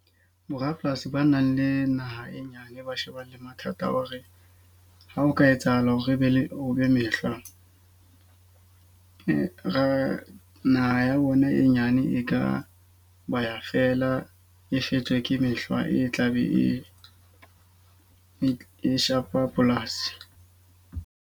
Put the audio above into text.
Borapolasi ba nang le naha e nyane ba shebana le mathata a hore ha o ka etsahala hore e be o be mehlwa. Ra naha ya bona e nyane e ka ba ya fela, e shejwe ke mehla e tla be e e shapa polasi.